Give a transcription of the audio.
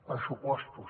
pressupostos